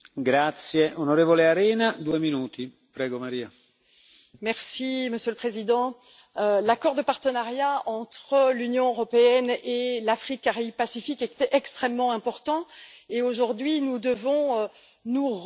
Monsieur le Président, l'accord de partenariat entre l'Union européenne et l'Afrique Caraïbes Pacifique est extrêmement important, et aujourd'hui nous devons nous repositionner dans le cadre d'un accord européen Afrique Caraïbes Pacifique.